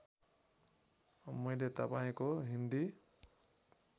मैले तपाईँको हिन्दी